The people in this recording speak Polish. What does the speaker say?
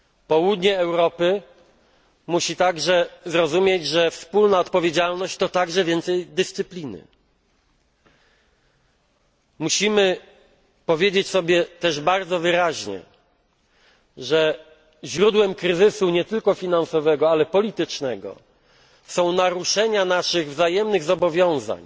Południe Europy musi zaś zrozumieć, że wspólna odpowiedzialność to także więcej dyscypliny. Musimy powiedzieć sobie też bardzo wyraźnie, że źródłem kryzysu, nie tylko finansowego, ale także politycznego, są naruszenia naszych wzajemnych zobowiązań,